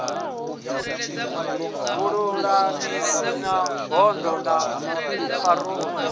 vhululamisi na bodo ya parole